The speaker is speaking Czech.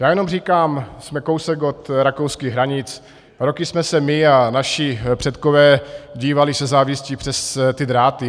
Já jenom říkám, jsme kousek od rakouských hranic, roky jsme se my a naši předkové dívali se závistí přes ty dráty.